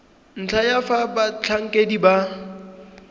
ntlha ya fa batlhankedi ba